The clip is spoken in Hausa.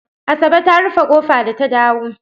Asabe ta rufe ƙofa da ta dawo.